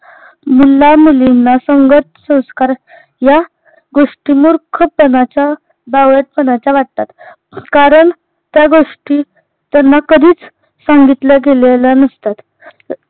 मुलामुलींना संगत संस्कार या गोष्टी मूर्खपणाच्या बावळटपणाच्या वाटतात कारण त्या गोष्टी त्यांना कधीच सांगितल्या गेलेल्या नसतात